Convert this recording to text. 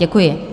Děkuji.